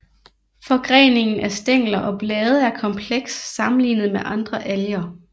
Forgreningen af stængler og blade er kompleks sammenlignet med andre alger